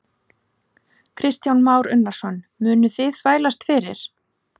Kristján Már Unnarsson: Munuð þið þvælast fyrir?